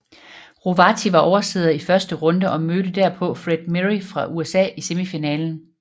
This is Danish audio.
Rovati var oversidder i første runde og mødte derpå Fred Meary fra USA i semifinalen